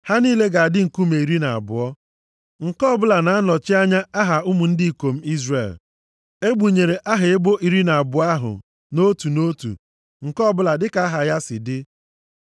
Ha niile ga-adị nkume iri na abụọ, nke ọbụla na-anọchi anya aha ụmụ ndị ikom Izrel. Egbunyere aha ebo iri na abụọ ahụ, otu nʼotu, nke ọbụla dịka aha ya si dị.